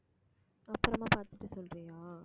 அப்புறமா பாத்துட்டு சொல்றியா